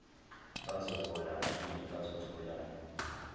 bazohola malini bazotholani